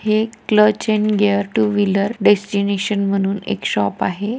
हे एक clutch and gear two wheeler destination म्हणून एक शॉप आहे.